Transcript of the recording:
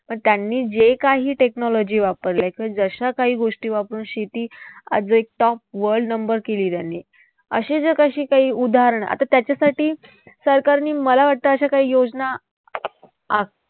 पण त्यांनी जे काही technology वापरल्या किंवा जशा काही गोष्टी वापरून शेती आज एक top world number केली त्यांनी. अशी जी काही उदाहरणं आता त्याच्यासाठी सरकारने मला वाटतं अशा काही योजना